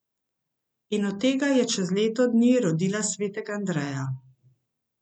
In od tega je čez leto dni rodila svetega Andreja.